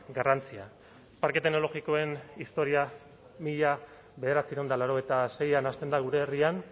garrantzia parke teknologikoen historia mila bederatziehun eta laurogeita seian hasten da gure herrian